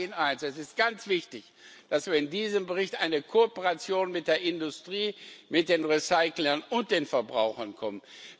Ich sage Ihnen eines Es ist ganz wichtig, dass wir in diesem Bericht eine Kooperation mit der Industrie, mit den Recyclern und den Verbrauchern bekommen.